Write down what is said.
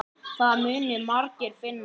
Það munu margir finna.